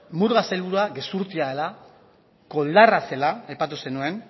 murga sailburua gezurtia dela koldarra zela aipatu zenuen